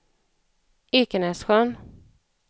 Ekenässjön